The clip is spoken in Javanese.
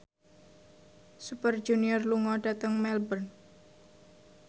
Super Junior lunga dhateng Melbourne